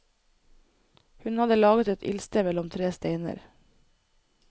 Hun hadde laget et ildsted mellom tre steiner.